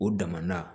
O dama na